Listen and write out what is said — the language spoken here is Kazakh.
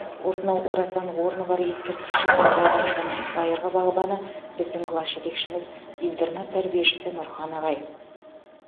осынау орасан орны бар ескерткіш шыққан бау бақшаның байырғы бағбаны біздің класс жетекшіміз интернат тәрбиешісі нұрхан ағай